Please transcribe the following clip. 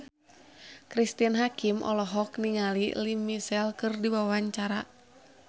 Cristine Hakim olohok ningali Lea Michele keur diwawancara